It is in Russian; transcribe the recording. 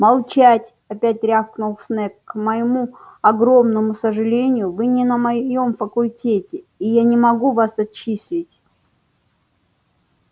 молчать опять рявкнул снегг к моему огромному сожалению вы не на моём факультете и я не могу вас отчислить